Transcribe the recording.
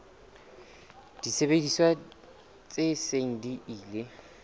disebediswa tse seng di ile